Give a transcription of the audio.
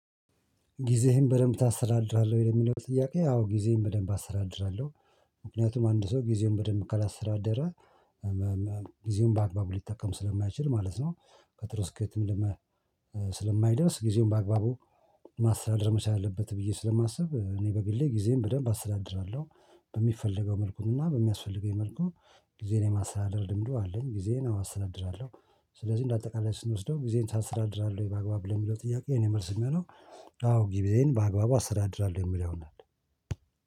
ጊዜህን በደንብ ታሰተዳድራለሁ ወይ? ለሚለው ጥያቄ አዎ ጊዜየን በደንብ አሰተዳድራለሁ ምክንያቱም አንድ ሰው ጊዜውን በደንብ ካላስተዳደረ ጊዜውን በአግባቡ ሊጠቀም ስለማይችል ማለት ነው። በጥሩ ስኬትም ለመ ስለማይደርስ ጊዜውን በአግባቡ ማስተዳደር መቻል አለበት ብዬ ስለማስብ እኔ በግሌ ጊዜን በደንብ አስተዳድራለሁ። በሚፈለገው መልኩ እና በሚያስፈልገኝ መልኩ ጊዜን የማስተዳደር ልምዱ አለኝ ጊዜን አዎ አስተድድራለሁ። ስለዚህ እንደ አጠቃላይ ስንወስደው ጊዜን ታስተዳድራለህ በአግባብ ለሚለው ጥያቄ የእኔ መልስ የሚሆነው አዎ ጊዜየን በአግባቡ አስተዳድራለሁ የሚለውን ነው።